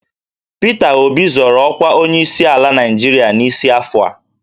Pita Obi zọrọ ọkwa onyeisiala Naịjirịa n'isi afọ a